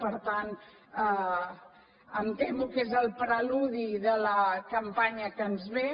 per tant em temo que és el preludi de la campanya que ens ve